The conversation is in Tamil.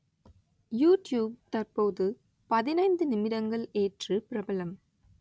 யூடியூப் தற்போது பதினைந்து நிமிடங்கள் ஏற்று பிரபலம்